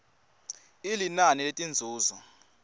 i linani letinzuzo